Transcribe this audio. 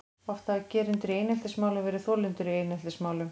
Oft hafa gerendur í eineltismálum verið þolendur í eineltismálum.